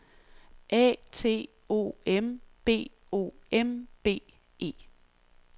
A T O M B O M B E